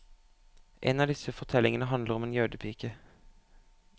En av disse fortellingene handler om en jødepike.